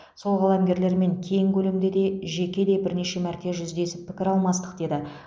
сол қаламгерлермен кең көлемде де жеке де бірнеше мәрте жүздесіп пікір алмастық деді